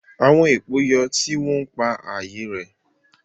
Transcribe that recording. Àwọn èpò yọ, tí wọ́n ń pa ààyè rẹ́